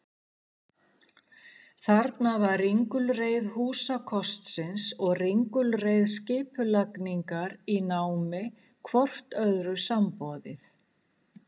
Þarna var ringulreið húsakostsins og ringulreið skipulagningar í námi hvort öðru samboðið.